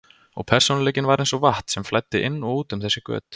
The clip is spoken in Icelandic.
Og persónuleikinn var eins og vatn sem flæddi inn og út um þessi göt.